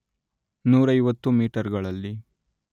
ನೂರೈವತ್ತು ಮೀಟರ್‌ಗಳಲ್ಲಿ